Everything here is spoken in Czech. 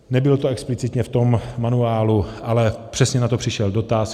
Nebylo to explicitně v tom manuálu, ale přesně na to přišel dotaz.